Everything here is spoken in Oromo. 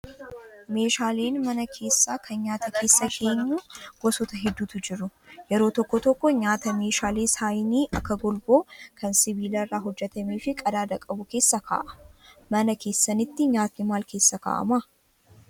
Meeshaaleen mana keessaa kan nyaata keessa keenyu gosoota hedduutu jiru. Yeroo tokko tokko nyaata meeshaalee saahinii akka golboo kan sibiila irraa hojjatamee fi qadaada qabu keessa kaa'ama. Mana keessanitti nyaatni maal keessa kaa'amaa?